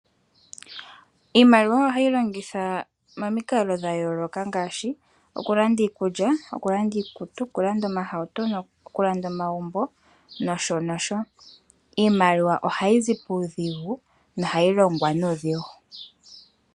Iimaliwa ohayi longithwa momikalo dha yooloka ngaashi okulanda iikulya kulanda iikutu, omahauto, omagumbo nosho nosho iimaliwa ohayi zi puudhigu nohayi longwa nuudhigu .